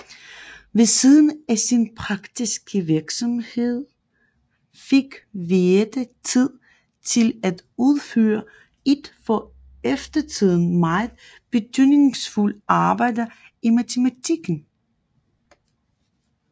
Ved siden af sin praktiske virksomhed fik Viète tid til at udføre et for eftertiden meget betydningsfuldt arbejde i matematikken